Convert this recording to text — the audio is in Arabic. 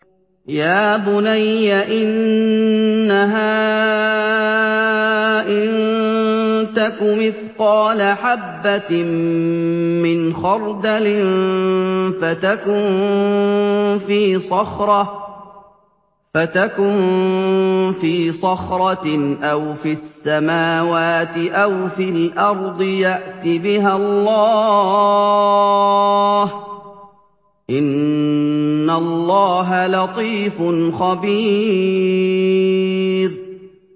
يَا بُنَيَّ إِنَّهَا إِن تَكُ مِثْقَالَ حَبَّةٍ مِّنْ خَرْدَلٍ فَتَكُن فِي صَخْرَةٍ أَوْ فِي السَّمَاوَاتِ أَوْ فِي الْأَرْضِ يَأْتِ بِهَا اللَّهُ ۚ إِنَّ اللَّهَ لَطِيفٌ خَبِيرٌ